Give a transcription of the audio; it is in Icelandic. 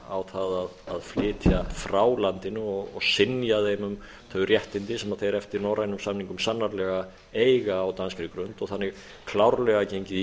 á það að flytja frá landinu og synja þeim um þau réttindi sem þeir eftir norrænum samningum sannarlega eiga á danskri grund og þannig klárlega gengið í